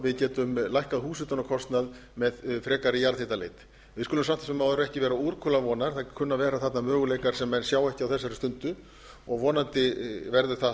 við getum lækkað húshitunarkostnað með frekari jarðhitaleit við skulum samt sem áður ekki vera úrkula vonar það kunna að vera þarna möguleikar sem menn sjá ekki á þessari stundu og vonandi verður það